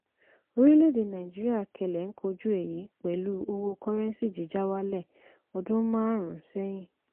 orílẹ̀ èdè nàìjíríà kẹlẹ̀ ń kojú èyí pẹ̀lú owó kọ́rẹ́ńsì jíjà wálẹ̀ odún márùn-ún sẹ́yìn.